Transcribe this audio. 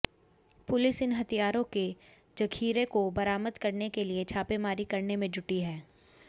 police इन हथियारों के जखीरे को बरामद करने के लिए छापेमारी करने में जुटी है